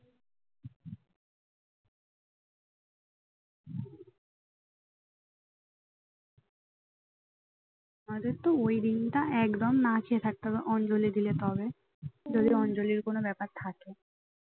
আমাদের তো ওই দিনটা একদিন না খেয়ে থাকতে হবে অঞ্জলি দিলে তাহলে যদি অঞ্জলির কোন ব্যাপার থাকে